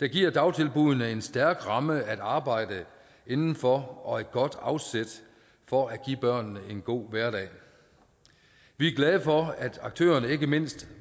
der giver dagtilbuddene en stærk ramme at arbejde inden for og et godt afsæt for at give børnene en god hverdag vi er glade for at aktørerne ikke mindst